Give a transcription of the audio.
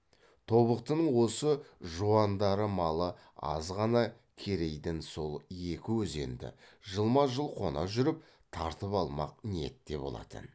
тобықтының осы жуандары малы аз ғана керейден сол екі өзенді жылма жыл қона жүріп тартып алмақ ниетте болатын